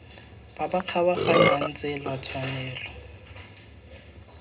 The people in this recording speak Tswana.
ba ba kgabaganyang tsela tshwanelo